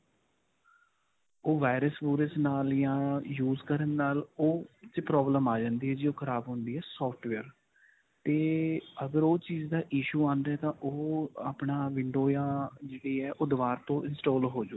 ਉਹ virus virus ਨਾਲ ਜਾਂ use ਕਰਨ ਨਾਲ ਉਹ 'ਚ problem ਆ ਜਾਂਦੀ ਹੈ ਜੇ ਉਹ ਖਰਾਬ ਹੁੰਦੀ ਹੈ software 'ਤੇ ਅਗਰ ਉਹ ਚੀਜ਼ ਦਾ issue ਆਉਂਦਾ ਹੈ ਤਾਂ ਉਹ ਆਪਣਾ window ਜਾਂ ਜਿਹੜੀ ਹੈ ਉਹ ਦੋਬਾਰ ਤੋਂ install ਹੋ ਜਾਵੇਗੀ.